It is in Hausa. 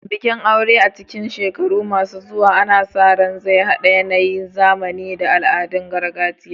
Bikin aure a cikin shekaru masu zuwa ana sa ran zai haɗe yanayin zamani da al'adun gargajiya.